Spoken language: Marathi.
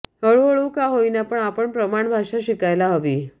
हळूहळू का होईना पण आपण प्रमाण भाषा शिकायला हवी